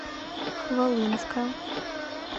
хвалынска